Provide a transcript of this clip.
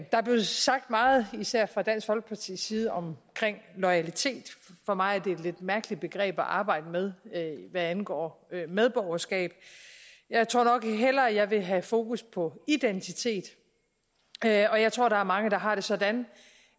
der er blevet sagt meget især fra dansk folkepartis side om loyalitet for mig er det et lidt mærkeligt begreb at arbejde med hvad angår medborgerskab jeg tror nok jeg hellere vil have fokus på identitet og jeg tror der er mange der har det sådan